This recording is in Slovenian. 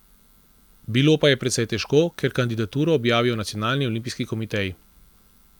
Bilo pa je precej težko, ker kandidaturo objavijo nacionalni olimpijski komiteji.